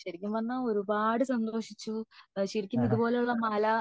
ശെരിക്കും പറഞ്ഞ ഒരുപാട് സന്തോഷിച്ചു ശെരിക്കും ഇതുപോലെ ഉള്ള മല